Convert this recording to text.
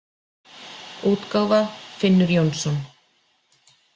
útgáfa Finnur Jónsson.